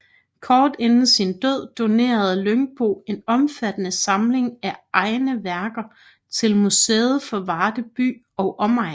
Kort inden sin død donerede Lyngbo en omfattende samling af egne værker til Museet for Varde By og Omegn